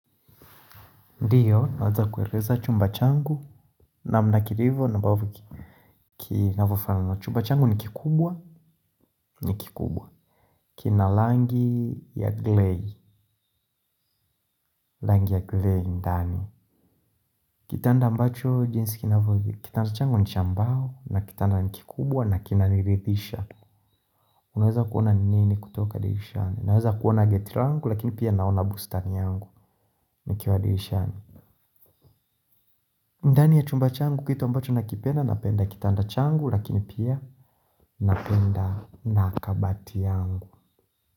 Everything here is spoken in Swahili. Ndiyo, naweza kueleza chumba changu namna kilivo na mbavyo kinavyo fanana. Chumba changu ni kikubwa ni kikubwa. Kina langi ya glei, langi ya glei ndani. Kitanda ambacho jinsi inavyo kitanda changu ni cha mbao na kitanda ni kikubwa na kina niridhisha. Unaweza kuona ni nini kutoka dirishani. Unaweza kuona geti langu lakini pia naona bustani yangu nikiwa dirishani. Ndani ya chumba changu kitu ambacho nakipenda napenda kitanda changu lakini pia napenda na kabati yangu.